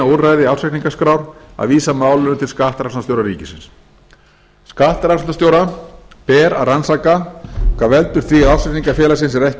úrræði ársreikningaskrár að vísa málinu til skattrannsóknarstjóra ríkisins skattrannsóknarstjóra ber að rannsaka hvað veldur því að ársreikningur félagsins er